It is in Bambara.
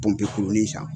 Pɔnpe kurunin sisan